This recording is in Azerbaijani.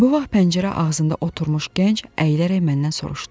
Bu vaxt pəncərə ağzında oturmuş gənc əyilərək məndən soruşdu.